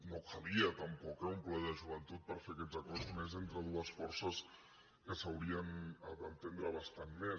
no calia tampoc eh un ple de joventut per fer aquests acords i més entre dues forces que s’haurien d’entendre bastant més